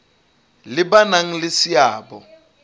le ba nang le seabo